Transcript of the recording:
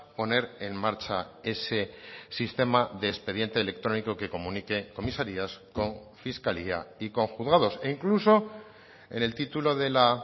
poner en marcha ese sistema de expediente electrónico que comunique comisarías con fiscalía y con juzgados e incluso en el título de la